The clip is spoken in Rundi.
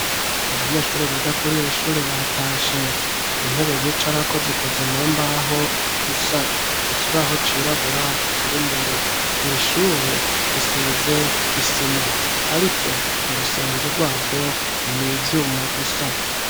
Abanyeshuri biga kuriri shure batashe intebe bicarako zikoze mu mbaho gusa ikibaho cirabura kiri imbere irishure risize isima ariko urusenge rwaho n'ivyuma gusa